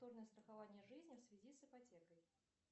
страхование жизни в связи с ипотекой